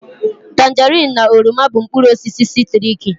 Tanjerin na oroma bụ mkpụrụ osisi sitriki